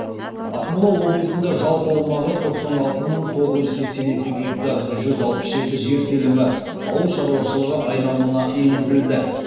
ақмола облысында жалпы аумағы тоқсан алты мың тоғыз жүз сексен екі гектар жүз алпыс жеті жер телімі ауыл шаруашылығы айналымына енгізілді